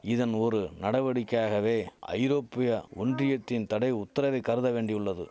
இதன் ஒரு நடவடிக்கையாகவே ஐரோப்பியா ஒன்றியத்தின் தடை உத்தரவை கருத வேண்டியுள்ளது